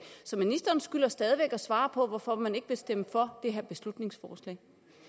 så ministeren skylder stadig væk at svare på hvorfor man ikke vil stemme for det her beslutningsforslag